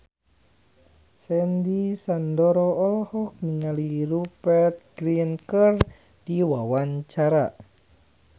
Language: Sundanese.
Sandy Sandoro olohok ningali Rupert Grin keur diwawancara